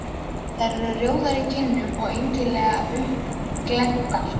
Þær eru rjóðar í kinnum og einkennilega uppglenntar.